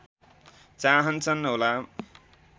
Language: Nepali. चाहन्छन् होला